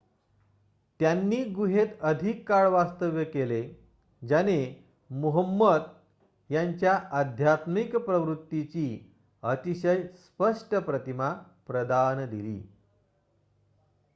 त्यांनी गुहेत अधिक काळ वास्तव्य केले ज्याने मुहम्मद यांच्या आध्यात्मिक प्रवृत्तीची अतिशय स्पष्ट प्रतिमा प्रदान दिली